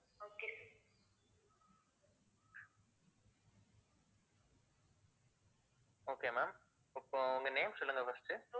okay ma'am இப்போ உங்க name சொல்லுங்க first உ